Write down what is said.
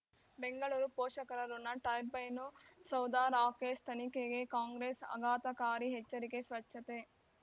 ಬೆಂಗಳೂರು ಪೋಷಕರಋಣ ಟರ್ಬೈನು ಸೌಧ ರಾಕೇಶ್ ತನಿಖೆಗೆ ಕಾಂಗ್ರೆಸ್ ಆಘಾತಕಾರಿ ಎಚ್ಚರಿಕೆ ಸ್ವಚ್ಛತೆ